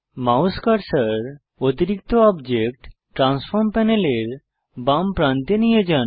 mouse cursor অতিরিক্ত object transform প্যানেলের বাম প্রান্তে নিয়ে যান